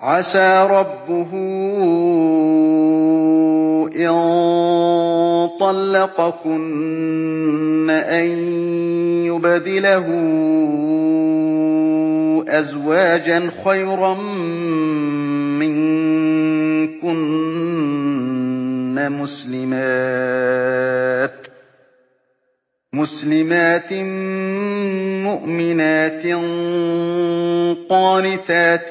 عَسَىٰ رَبُّهُ إِن طَلَّقَكُنَّ أَن يُبْدِلَهُ أَزْوَاجًا خَيْرًا مِّنكُنَّ مُسْلِمَاتٍ مُّؤْمِنَاتٍ قَانِتَاتٍ